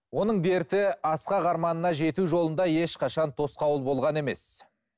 оның дерті асқақ арманына жету жолында ешқашан тосқауыл болған емес